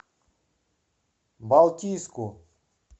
балтийску